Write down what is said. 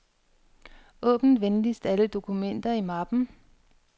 Åbn venligst alle dokumenter i mappen.